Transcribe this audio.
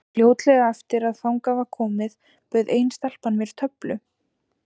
Fljótlega eftir að þangað var komið bauð ein stelpan mér töflu.